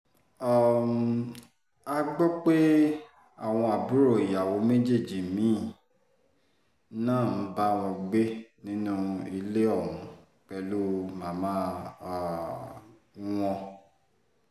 um a gbọ́ pé àwọn àbúrò ìyàwó méjì mí-ín náà ń bá wọn gbé nínú ilé ọ̀hún pẹ̀lú màmá um wọn